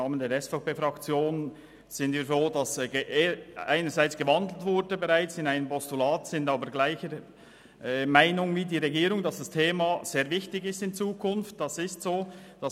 Die SVP-Fraktion ist froh, dass die Motion in ein Postulat umgewandelt worden ist, ist aber derselben Meinung wie die Regierung, dass das betreffende Thema in Zukunft sehr wichtig sein wird.